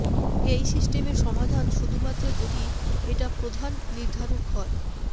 এই সিস্টেমে সমাধান শুধুমাত্র যদি এটা প্রধান নির্ধারক হয়